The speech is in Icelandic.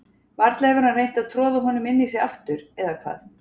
Varla hefur hann reynt að troða honum inn í sig aftur, eða hvað?